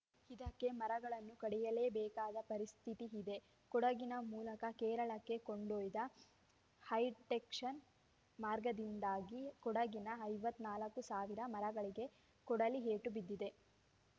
ಇದಕ್ಕೆ ಮರಗಳನ್ನು ಕಡಿಯಲೇಬೇಕಾದ ಪರಿಸ್ಥಿತಿ ಇದೆ ಕೊಡಗಿನ ಮೂಲಕ ಕೇರಳಕ್ಕೆ ಕೊಂಡೊಯ್ದ ಹೈಟೆಕ್ಷನ್‌ ಮಾರ್ಗದಿಂದಾಗಿ ಕೊಡಗಿನ ಐವತ್ತ್ ನಾಲ್ಕು ಸಾವಿರ ಮರಗಳಿಗೆ ಕೊಡಲಿ ಏಟು ಬಿದ್ದಿದೆ